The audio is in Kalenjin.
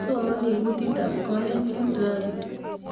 asomani kutit ab kalenjin raini